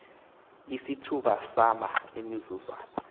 isithuba sama emizuzwana